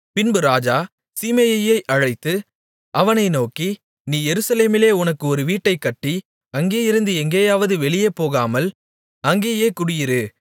பின்பு ராஜா சீமேயியை அழைத்து அவனை நோக்கி நீ எருசலேமிலே உனக்கு ஒரு வீட்டைக்கட்டி அங்கேயிருந்து எங்கேயாவது வெளியே போகாமல் அங்கேயே குடியிரு